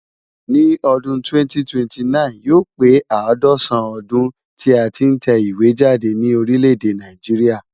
Ní ọdún 2029,yóò pé àádọ́sàn-án ọdún tí a tí ń tẹ ìwé jáde ní orílẹ̀ èdè Nàìjíríà.